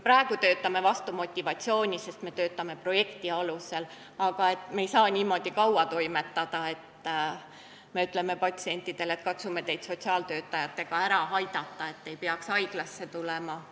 Praegu me töötame vastu motivatsiooni, sest me teeme kõike projekti alusel, aga väga kaua me ei saa niimoodi toimetada ega öelda patsientidele, et katsume teid sotsiaaltöötajatega ära aidata, siis te ei peaks haiglasse tulema.